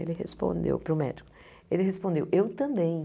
Ele respondeu, para o médico, ele respondeu, eu também.